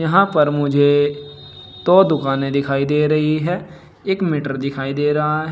यहां पर मुझे दो दुकाने दिखाई दे रही है एक मीटर दिखाई दे रहा है।